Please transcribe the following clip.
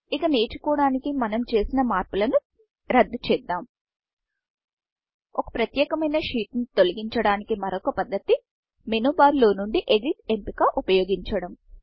ఇక నేర్చుకోవడానికి మనం చేసిన మార్పులను రద్దు చేద్దాం ఒక ప్రత్యేకమైన షీట్ ను తొలగించడానికి మరొక పద్ధతి మేను barమేను బార్లోనుండి ఎడిట్ ఎడిట్ఎంపిక ఉపయోగించడం